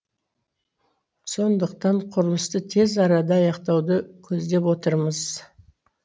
сондықтан құрылысты тез арада аяқтауды көздеп отырмыз